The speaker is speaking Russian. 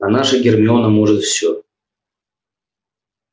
а наша гермиона может все